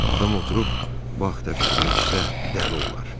Adam oturub bu haqda fikirləşsə, dəli olar.